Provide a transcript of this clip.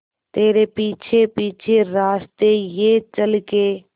तेरे पीछे पीछे रास्ते ये चल के